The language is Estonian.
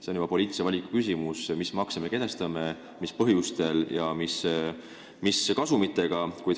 See on poliitilise valiku küsimus, mis makse me mis põhjustel ja mis kasumitega kehtestame.